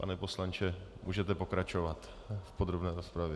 Pane poslanče, můžete pokračovat v podrobné rozpravě.